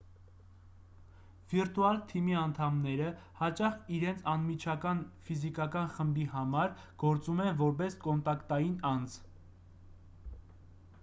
վիրտուալ թիմի անդամները հաճախ իրենց անմիջական ֆիզիկական խմբի համար գործում են որպես կոնտակտային անձ